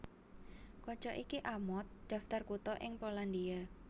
Kaca iki amot daftar kutha ing Polandia